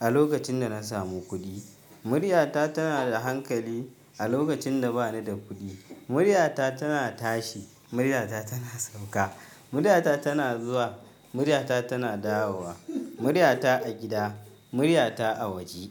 a lokacin da na samu kuɗi. Muryata tanada hankali a lokacinda banida kuɗi. Muryata tana tashi, muryata tana sauka. Muryata tana zuwa, muryata tana dawowa. Muryata a gida, muryata a waje.